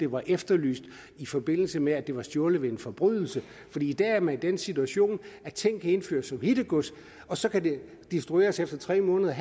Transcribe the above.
var efterlyst i forbindelse med at det var stjålet ved en forbrydelse for i dag er man i den situation at ting kan indføres som hittegods og så kan de destrueres efter tre måneder